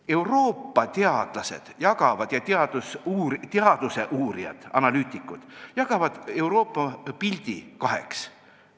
Euroopa teadlased ja teaduse uurijad, analüütikud, jagavad Euroopa pildi kaheks.